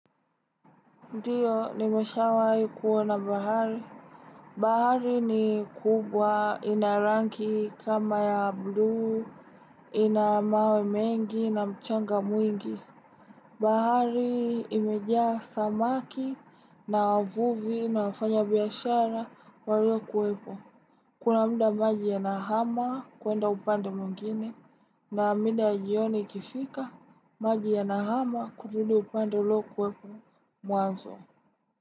Ndiyo, nimesha wahii kuona bahari. Bahari ni kubwa ina rangi kama ya blue, ina mawe mengi na mchanga mwingi. Bahari imejaa samaki na wavuvi na wafanya biashara walio kuwepo. Kuna mda maji yanahama kuenda upande mwingine na mida jioni ikifika, maji ya nahama kutudu upando ulio kuwepo mwanzo.